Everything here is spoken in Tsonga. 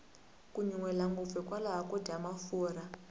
ku nyuhela ngopfu hi kokwalaho ko dya mafurha